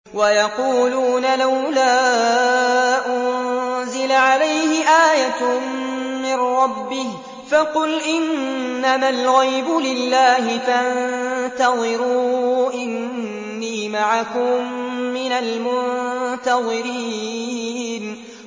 وَيَقُولُونَ لَوْلَا أُنزِلَ عَلَيْهِ آيَةٌ مِّن رَّبِّهِ ۖ فَقُلْ إِنَّمَا الْغَيْبُ لِلَّهِ فَانتَظِرُوا إِنِّي مَعَكُم مِّنَ الْمُنتَظِرِينَ